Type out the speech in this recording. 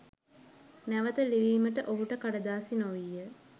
නැවත ලිවීමට ඔහුට කඩදාසි නොවීය